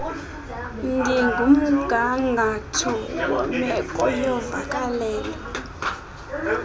ngumgangatho wemeko yovakalelo